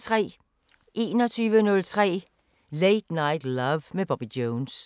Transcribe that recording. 21:03: Late Night Love med Bobby Jones